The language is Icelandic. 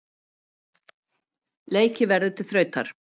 Leikið verður til þrautar.